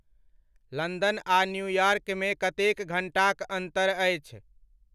London आ New York मे कतेक घंटाक अंतर अछि?